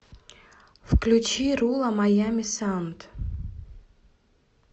включи руло майами саунд